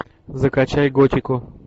закачай готику